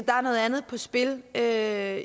er